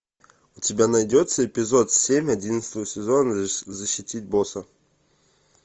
у тебя найдется эпизод семь одиннадцатого сезона защитить босса